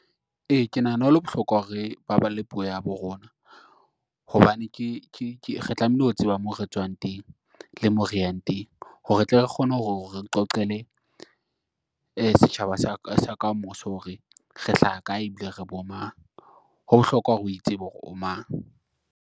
E, ke nahana ho le bohlokwa hore re baballe puo ya habo rona hobane re tlamehile ho tseba moo re tswang teng, le mo reyang teng hore re tle re kgone hore qoqele, setjhaba sa kamoso hore re hlaha kae ebile re bomang. Ho bohlokwa hore o itsebe hore o mang.